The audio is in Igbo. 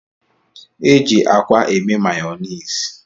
E ji akwa eme mayonisi